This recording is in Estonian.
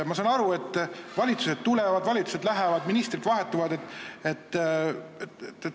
Ma saan aru, et valitsused tulevad, valitsused lähevad ja ministrid vahetuvad.